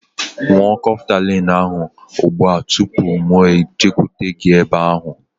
Ṅụọ Kọftalin ahu ụgbụa tụpụ mụ ejekwute gị ebe ahu